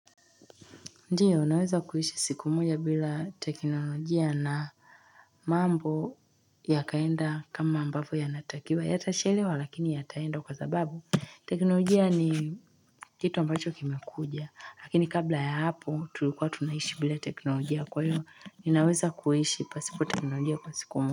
Ndiyo naweza kuishi siku moja bila teknolojia na mambo yakaenda kama ambapo yanatakiwa yatachelewa lakini yataenda kwa sababu teknolojia ni kitu ambacho kimekuja lakini kabla ya hapo tulikuwa tunaishi bila teknolojia kwa hiyo ninaweza kuishi pasipo teknolojia kwa siku moja.